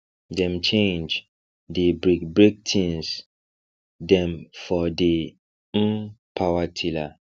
dem change dey break break tines dem for dey um power tiller